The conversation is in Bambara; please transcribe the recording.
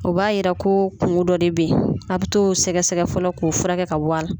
O b'a jira ko kungo dɔ de bɛ yen a' bɛ t'o sɛgɛsɛgɛ fɔlɔ k'o furakɛ ka bɔ a la